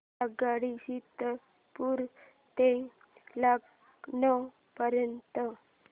आगगाडी सीतापुर ते लखनौ पर्यंत